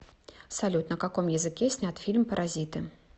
салют на каком языке снят фильм паразиты